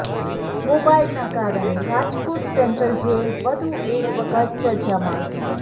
મોબાઈલનાં કારણે Rajkot central jail વધુ એક વખત ચર્ચામાં